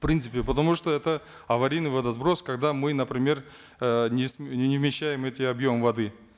в принципе потому что это аварийный водосброс когда мы например э не вмещаем эти объемы воды